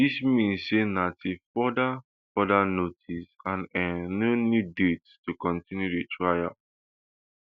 dis mean say na till further further notice and um no new date to continue di trial